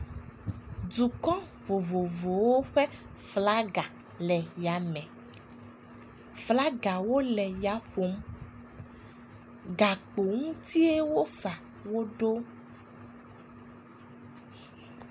Dukɔ vovovowo ƒe flaga le yame. Flagawo le ya ƒom. Gakpo ŋutie wosa wo ɖo.